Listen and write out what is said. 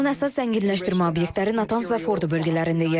İranın əsas zənginləşdirmə obyektləri Natans və Fordo bölgələrində yerləşir.